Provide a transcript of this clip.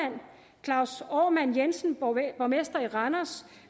claus omann jensen borgmester i randers